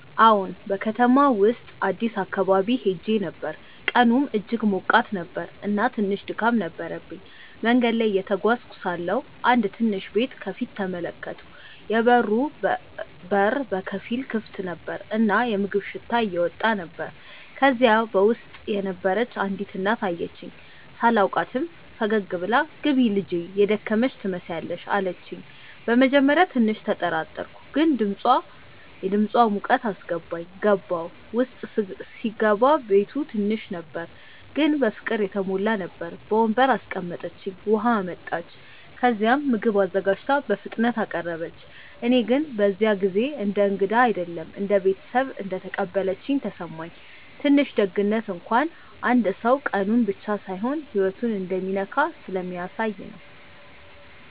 አዎን፣ በከተማው ውስጥ አዲስ አካባቢ ሄዼ ነበር፣ ቀኑም እጅግ ሞቃት ነበር እና ትንሽ ድካም ነበረብኝ። መንገድ ላይ እየተጓዝኩ ሳለሁ አንድ ትንሽ ቤት ከፊት ተመለከትኩ፤ የበሩ በር በከፊል ክፍት ነበር እና የምግብ ሽታ እየወጣ ነበር። ከዚያ በውስጥ የነበረች አንዲት እናት አየችኝ። ሳላውቃትም ፈገግ ብላ “ግቢ ልጄ፣ የደከመሽ ትመስያለሽ” አለችኝ። በመጀመሪያ ትንሽ ተጠራጠርኩ፣ ግን የድምፃ ሙቀት አስገባኝ። ገባሁ። ውስጥ ሲገባ ቤቱ ትንሽ ነበር ግን በፍቅር የተሞላ ነበር። በወንበር አስቀምጠችኝ፣ ውሃ አመጣች፣ ከዚያም ምግብ አዘጋጅታ በፍጥነት አቀረበች። እኔ ግን በዚያ ጊዜ እንደ እንግዳ አይደለም እንደ ቤተሰብ እንደተቀበለችኝ ተሰማኝ። ትንሽ ደግነት እንኳን አንድ ሰው ቀኑን ብቻ ሳይሆን ህይወቱን እንደሚነካ ስለሚያሳየ ነው